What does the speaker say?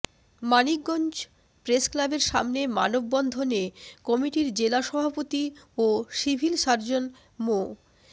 মানিকগঞ্জ প্রেসক্লাবের সামনে মানববন্ধনে কমিটির জেলা সভাপতি ও সিভিল সার্জন মো